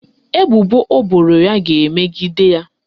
Ebubo o boro ya ga-emegide ya.